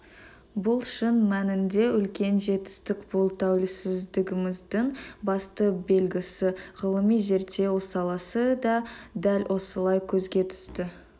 бұл шын мәнінде үлкен жетістік бұл тәуелсіздігіміздің басты белгісі ғылыми-зерттеу саласы да дәл осылай көзге түсті